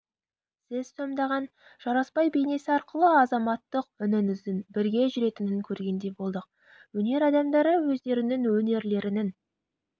сіз сомдаған жарасбай бейнесі арқылы азаматтық үніңіздің бірге жүретінін көргендей болдық өнер адамдары өздерінің өнерлерінің